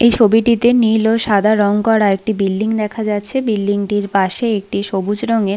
এই ছবিটিতে নীল ও সাদা রং করা একটি বিল্ডিং দেখা যাচ্ছে বিল্ডিং -টির পাশে একটি সবুজ রঙের--